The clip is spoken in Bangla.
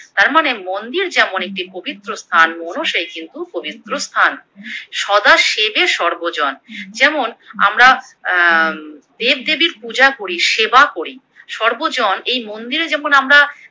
তার মানে মন্দির যেমন একটি পবিত্র স্থান মনও সেই কিন্তু পবিত্র স্থান, সদা সেবে সর্বজন যেমন আমরা অ্যা দেবদেবীর পূজা করি সেবা করি সর্বজন এই মন্দিরে যেমন আমরা